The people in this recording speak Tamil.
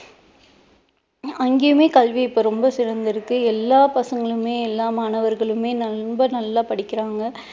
அங்கயுமே இப்போ கல்வி ரொம்ப சிறந்து இருக்கு எல்லாம் பசங்களுமே எல்லா மாணவர்களுமே ரொம்ப நல்லா படிக்கிறாங்க.